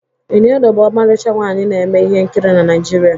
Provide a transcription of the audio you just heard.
Iniedo bụ ọmarịcha nwaanyi na-eme ihe nkiri na Naịjirịa